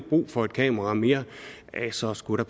brug for et kamera mere så skulle der